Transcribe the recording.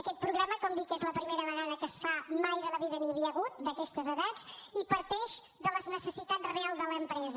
aquest programa com dic és la primera vegada que es fa mai de la vida n’hi havia hagut d’aquestes edats i parteix de la necessitat real de l’empresa